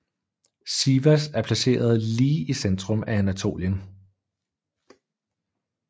Sivas er placeret lige i centrum af Anatolien